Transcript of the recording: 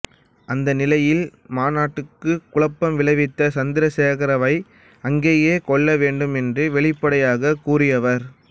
அந்த நிலையில் மாநாட்டுக்கு குழப்பம் விளைவித்த சந்திரசேகரவை அங்கேயே கொல்ல வேண்டும் என்று வெளிப்படையாகக் கூறியவர்